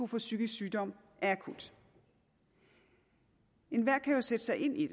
for psykisk sygdom er akut enhver kan jo sætte sig ind i